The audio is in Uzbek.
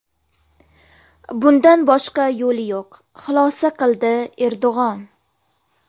Bundan boshqa yo‘li yo‘q”, xulosa qildi Erdo‘g‘on.